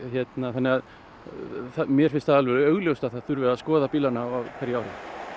þannig að mér finnst alveg augljóst að það þurfi að skoða bílana á hverju ári